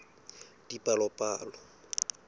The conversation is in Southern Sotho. dipalopalo